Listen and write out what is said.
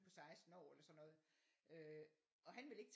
På 16 år eller sådan noget øh og han vil ikke